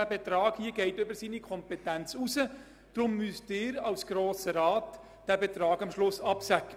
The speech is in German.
Der vorliegende Betrag geht über seine Kompetenzen hinaus, deshalb müssen Sie als Grosser Rat diesen absegnen.